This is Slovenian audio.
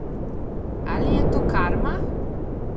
Ali je to karma?